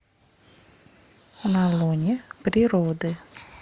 на лоне природы